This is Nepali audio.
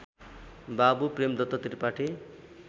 बाबु प्रेमदत्त त्रिपाठी